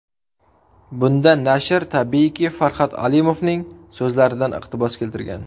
Bunda nashr, tabiiyki, Farhod Alimovning so‘zlaridan iqtibos keltirgan.